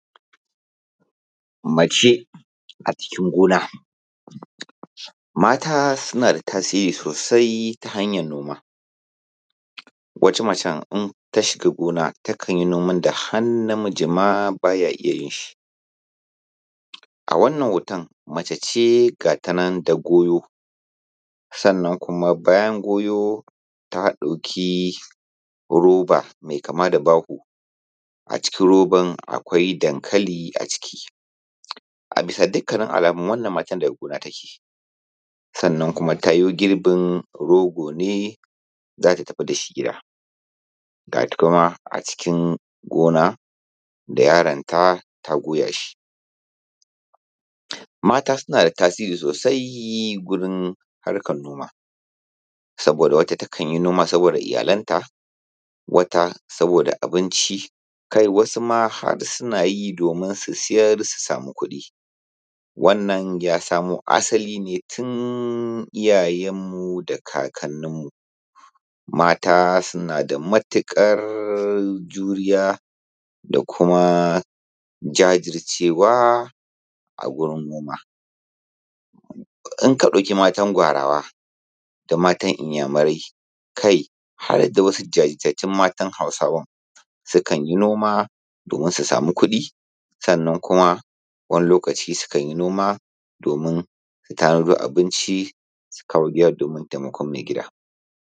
Mace a cikin gona, mata suna da tasiri sosai ta hanyar noma. Wata mace idan gona takan yi aikin da har namijiml ma ba ya iya yin shi. A wannan hoton mace ce ga shi nan ma har da goyo, bayan goyo ta ɗauki roba mai kama da baho a cikin roban akwai dankali a ciki. A bisa dukkan alamu wannna matan daga gona take, sannan kuma ta yo girbin roogo ne za ta tafi da shi gida, ga ta kuma a cikin gona da yaronta ta goya shi. Mata suna da tasiri sosai ga harkar noma, saboda wata takan yi noman ne ga iyalanta wata saboda abinci wasu ma har suna yi domin su sayar su sama kuɗin. Wannan ya samo asali ne tun iyaye da kakanninmu mata suna da matuƙar juriya da kuma jajircewa a gurin noma. Idan ka ɗauki matan Gwarawa da matan iyamurai kai har da wasu jajiirtatttun matan Hausawan sukan yi noma don su sama kuɗi, sannan kuma wani lokaci sukan yi noma domin su tara abinci su kawo gida domin taimakon maigida.